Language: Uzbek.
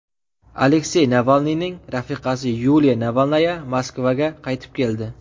Aleksey Navalniyning rafiqasi Yuliya Navalnaya Moskvaga qaytib keldi.